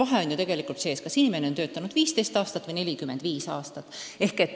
Aga on ju vahe, kas inimene on töötanud 15 aastat või 45 aastat.